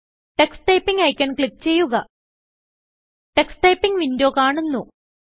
Tux Typingഐക്കൺ click ചെയ്യുക Tux Typingവിൻഡോ കാണുന്നു